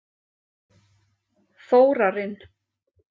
Þórarinn